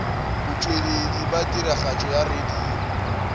botšweletši bja tiragatšo ya radio